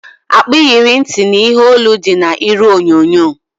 Akpa iyeri ntị na ihe olu dị na iru onyonyo